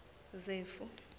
zefu